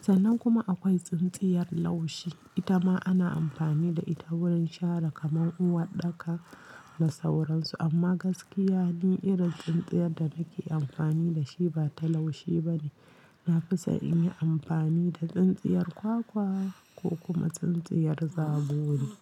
Sannan kuma akwai tsintsiyar laushi. Ita ma ana amfani da ita wurin shara kamar uwaɗɗaka da sauran su. Amma gaskiya ni irin tsintsiyar da nake amfani da shi ba ta laushi ba ne. Na fi so in yi amfani da tsintsiyar kwakwa ko kuma tsintsiyar zabori.